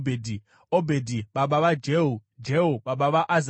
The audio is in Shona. Obhedhi baba vaJehu, Jehu baba vaAzaria,